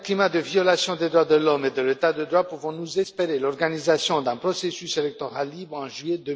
de l'homme et de l'état de droit pouvons nous espérer l'organisation d'un processus électoral libre en juillet